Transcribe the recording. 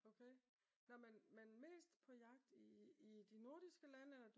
Okay nå men men mest på jagt i de nordiske lande?